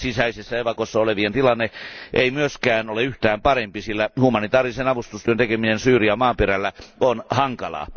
Maan sisäisessä evakossa olevien tilanne ei kuitenkaan ole yhtään parempi, sillä humanitaarisen avustustyön tekeminen Syyrian maaperällä on hankalaa.